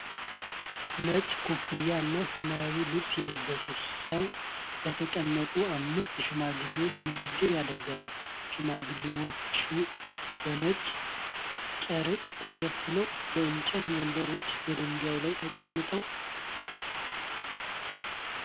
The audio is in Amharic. ነጭ ኮፍያ እና ሰማያዊ ልብስ የለበሰ ሰው ለተቀመጡ አምስት ሽማግሌዎች ንግግር ያደርጋል። ሽማግሌዎቹ በነጭ ጨርቅ ተሸፍነው በእንጨት ወንበሮችና በድንጋይ ላይ ተቀምጠዋል።